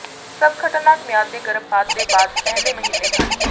ਸਭ ਖਤਰਨਾਕ ਮਿਆਦ ਦੇ ਗਰਭਪਾਤ ਦੇ ਬਾਅਦ ਪਹਿਲੇ ਮਹੀਨੇ ਹੈ